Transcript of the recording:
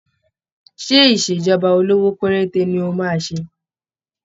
Ṣé ìṣèjọba olówó péréte ní ó máa ṣe?